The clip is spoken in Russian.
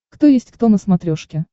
кто есть кто на смотрешке